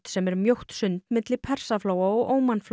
sem er mjótt sund milli Persaflóa og